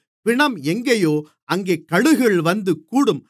பிணம் எங்கேயோ அங்கே கழுகுகள் வந்து கூடும்